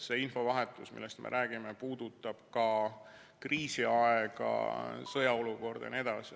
See infovahetus, millest me räägime, puudutab ka kriisiaega, sõjaolukorda jne.